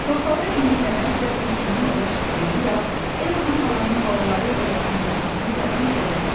Torpağı imsələməklə tülkünün ova çıxdığını da, El Naxalanın balaları ilə yaxınlaşmasını da hiss edə bilirdi.